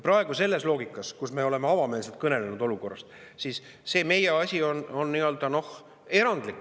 Me selles loogikas oleme avameelselt olukorrast kõnelenud.